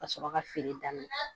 Ka sɔrɔ ka feere daminɛ